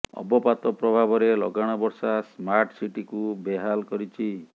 ଅବପାତ ପ୍ରଭାବରେ ଲଗାଣ ବର୍ଷା ସ୍ମାର୍ଟ ସିଟିକୁ ବେହାଲ କରିଛି